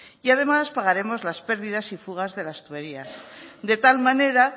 y además pagaremos las pérdidas y fugas de las tuberías de tal manera